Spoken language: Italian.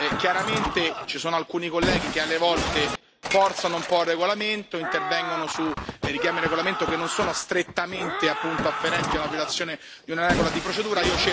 Chiaramente ci sono alcuni colleghi che alle volte forzano un po' il regolamento e intervengono per richiami del regolamento che non sono strettamente afferenti a una violazione di una regola di procedura.